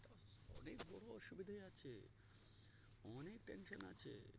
অনেক বড়ো অসুবিধায় আছে অনেক tension এ আছে